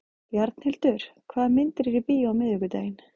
Bjarnhildur, hvaða myndir eru í bíó á miðvikudaginn?